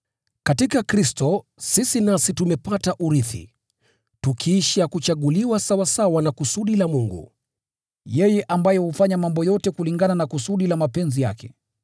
Katika Kristo sisi nasi tumepata urithi, tukisha kuchaguliwa sawasawa na kusudi la Mungu, yeye ambaye hufanya mambo yote kulingana na kusudi la mapenzi yake,